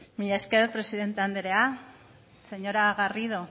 mila esker presidente andrea señora garrido